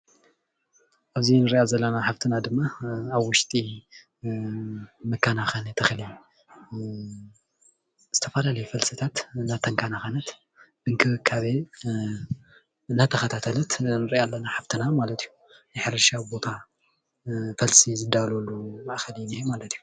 ኣብዚ እንሪኣ ዘለና ሓፍትና ድማ ኣብ ውሽጢ መከናኸኒ ተኽሊ ዝተፈላለዩ ፈልስታት እናተኸናኸነት እንክብካቤ እንዳተኽታተለት ንርኣ ኣለና ሓፍትና ማለት እዩ፡፡ ናይ ሕርሻ ቦታ ፈልሲ ዝዳለወሉ ማእከል እዩ ዝነሄ ማለት እዩ፡፡